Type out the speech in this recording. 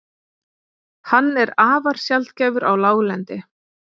Hann er afar sjaldgæfur á láglendi.